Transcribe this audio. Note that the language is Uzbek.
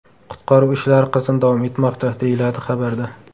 Qutqaruv ishlari qizg‘in davom etmoqda”, deyiladi xabarda.